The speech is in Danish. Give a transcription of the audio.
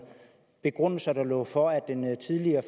begrundelser der var for at den tidligere